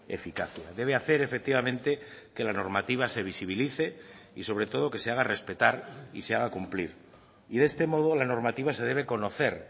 eficacia debe hacer efectivamente que la normativa se visibilice y sobre todo que se haga respetar y se haga cumplir y de este modo la normativa se debe conocer